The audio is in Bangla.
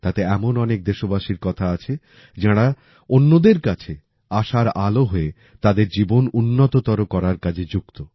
তাতে এমন অনেক দেশবাসীর কথা আছে যাঁরা অন্যদের কাছে আশার আলো হয়ে তাদের জীবন উন্নততর করার কাজে যুক্ত